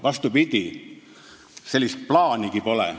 Vastupidi, sellist plaanigi pole.